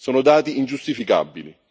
Sono dati ingiustificabili.